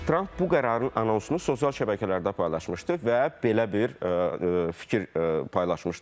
Tramp bu qərarın anonsunu sosial şəbəkələrdə paylaşmışdı və belə bir fikir paylaşmışdır.